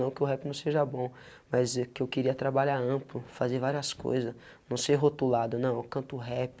Não que o rap não seja bom, mas é que eu queria trabalhar amplo, fazer várias coisa, não ser rotulado, não, canto rap,